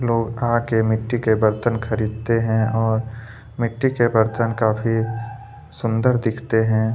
लोग आके मिट्टी के बर्तन खरीदते है और मिट्टी के बर्तन काफ़ी सुंदर दिखते हैं।